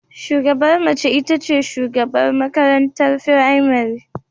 Shugabar mace ita ce shugabar makarantar firamare